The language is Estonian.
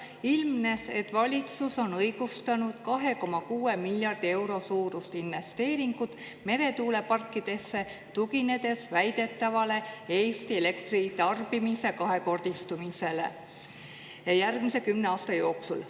Ilmnes, et valitsus on õigustanud 2,6 miljardi euro suurust investeeringut meretuuleparkidesse, tuginedes väidetavale Eesti elektritarbimise kahekordistumisele järgmise kümne aasta jooksul.